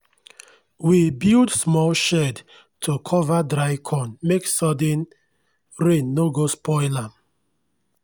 we build small shed to cover dry corn make sudden rain no go spoil am.